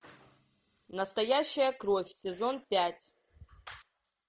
настоящая кровь сезон пять